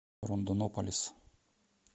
рондонополис